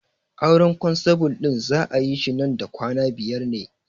Auren kwanstabul ɗin za'a yi shi man da kwana biyar ne